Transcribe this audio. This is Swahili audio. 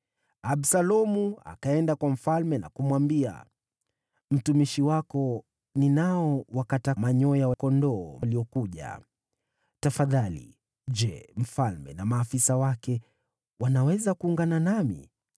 Absalomu akaenda kwa mfalme na kumwambia, “Mtumishi wako ninao wakata manyoya ya kondoo waliokuja. Tafadhali, je, mfalme na maafisa wake wanaweza kuungana nami?”